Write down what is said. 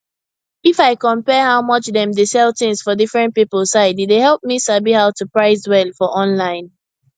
if i compare how much dem dey sell things for different people side e dey help me sabi how to price well for online